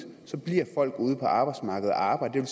så bliver folk ude på arbejdsmarkedet og arbejder